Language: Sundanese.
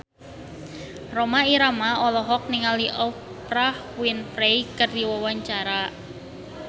Rhoma Irama olohok ningali Oprah Winfrey keur diwawancara